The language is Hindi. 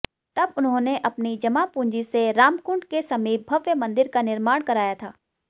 तब उन्होंने अपनी जमापूंजी से रामकुंड के समीप भव्य मंदिर का निर्माण कराया था